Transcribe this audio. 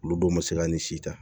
Olu don ma se ka nin si ta